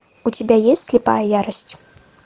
у тебя есть слепая ярость